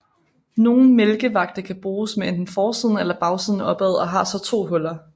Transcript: Nogle mælkevagte kan bruges med enten forsiden eller bagsiden opad og har så to huller